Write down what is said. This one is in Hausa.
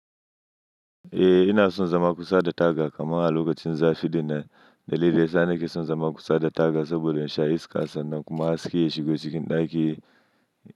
Eh, ina son zama kusa da taga kamar a lokacin zafi din nan. Dalili ya sa ni ke son zama kusa da taga saboda in sha iskar san nan kuma haske ya shigo cikin ɗaki.